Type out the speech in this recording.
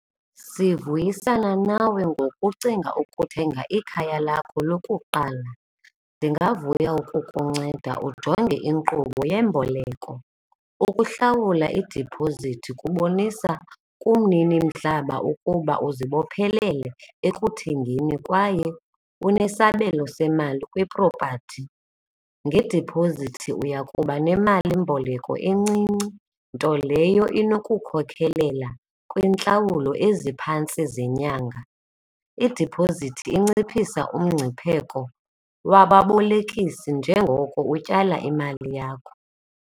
Sivuyisana nawe ngokucinga ukuthenga ikhaya lakho lokuqala. Ndingavuya ukukunceda ujonge inkqubo yeemboleko, ukuhlawula idiphozithi kubonisa kumninimhlaba ukuba uzibophelele ekuthengeni kwaye unesabelo semali kwiprophathi. Ngedipozithi uya kuba nemalimboleko encinci nto leyo inokukhokelela kwiintlawulo eziphantsi zenyanga. Idiphozithi inciphisa umngcipheko wababolekisi njengoko utyala imali yakho.